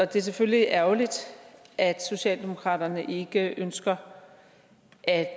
det er selvfølgelig ærgerligt at socialdemokraterne ikke ønsker at